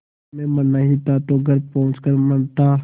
तुझे मरना ही था तो घर पहुँच कर मरता